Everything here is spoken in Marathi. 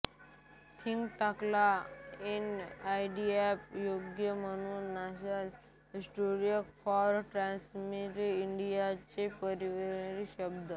थिंक टँकला एनआयटीआय आयोग म्हणतात national institute for transforming India चे परिवर्णी शब्द